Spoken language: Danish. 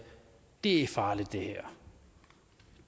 det her er farligt der